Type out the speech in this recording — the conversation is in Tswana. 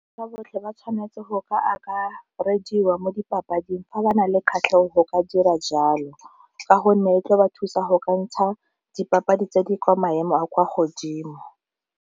Ka botlhe ba tshwanetse go ka reediwang mo dipapading fa ba na le kgatlhego go ka dira jalo, ka gonne e tla ba thusa go ka ntsha dipapadi tse di kwa maemo a kwa godimo.